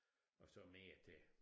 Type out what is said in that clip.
Og så mere til